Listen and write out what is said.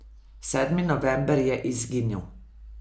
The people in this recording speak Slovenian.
Sedmi november je izginil.